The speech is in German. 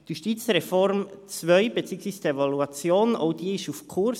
Die Justizreform II beziehungsweise die Evaluation ist auf Kurs.